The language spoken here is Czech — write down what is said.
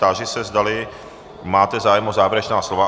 Táži se, zdali máte zájem o závěrečná slova.